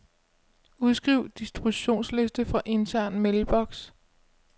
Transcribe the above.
Udskriv distributionsliste fra intern mailbox.